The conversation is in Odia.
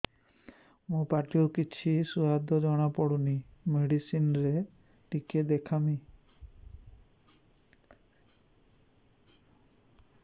ମୋ ପାଟି କୁ କିଛି ସୁଆଦ ଜଣାପଡ଼ୁନି ମେଡିସିନ ରେ ଟିକେ ଦେଖେଇମି